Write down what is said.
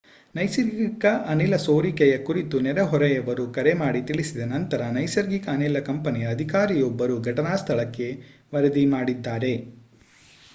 ನೈಸರ್ಗಿಕ ಅನಿಲ ಸೋರಿಕೆಯ ಕುರಿತು ನೆರೆಹೊರೆಯವರು ಕರೆ ಮಾಡಿ ತಿಳಿಸಿದ ನಂತರ ನೈಸರ್ಗಿಕ ಅನಿಲ ಕಂಪನಿಯ ಅಧಿಕಾರಿಯೊಬ್ಬರು ಘಟನಾ ಸ್ಥಳಕ್ಕೆ ವರದಿ ಮಾಡಿದ್ದಾರೆ